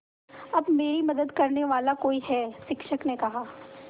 अब मेरी मदद करने वाला कोई है शिक्षक ने कहा